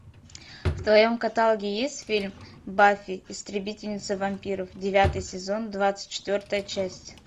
в твоем каталоге есть фильм баффи истребительница вампиров девятый сезон двадцать четвертая часть